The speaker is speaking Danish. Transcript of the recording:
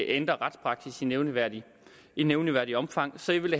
ændrer retspraksis i nævneværdigt i nævneværdigt omfang så jeg vil